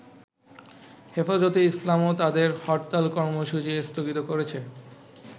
হেফাজতে ইসলামও তাদের হরতাল কর্মসূচি স্থগিত করেছে।